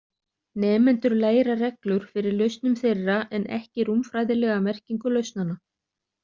Nemendur læra reglur fyrir lausnum þeirra en ekki rúmfræðilega merkingu lausnanna.